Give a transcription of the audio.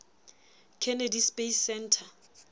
kennedy space center